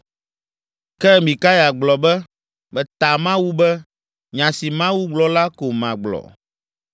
Ke Mikaya gblɔ be, “Meta Mawu be, nya si Mawu gblɔ la ko magblɔ.”